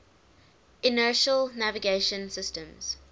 inertial navigation systems